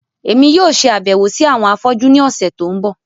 Èmi yóò ṣe àbẹ̀wò si àwọn afọ́jú ni ọ̀sẹ̀ to n bọ.